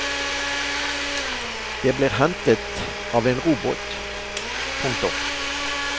De blir hentet av en robåt. punktum